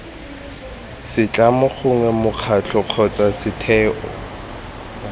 setlamo gongwe mokgatlho kgotsa setheo